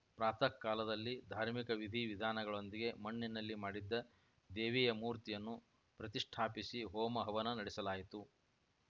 ಪ್ರಾತಃ ಕಾಲದಲ್ಲಿ ಧಾರ್ಮಿಕ ವಿಧಿ ವಿಧಾನಗಳೊಂದಿಗೆ ಮಣ್ಣಿನಲ್ಲಿ ಮಾಡಿದ್ದ ದೇವಿಯ ಮೂರ್ತಿಯನ್ನು ಪ್ರತಿಷ್ಠಾಪಿಸಿ ಹೊಮ ಹವನ ನಡೆಸಲಾಯಿತು